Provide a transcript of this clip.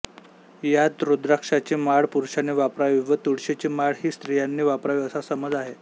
यात रुद्राक्षाची माळ पुरुषाने वापरावी व तुळशीची माळ ही स्त्रियांनी वापरावी असा समज आहे